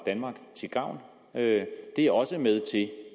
danmark til gavn det er også med til at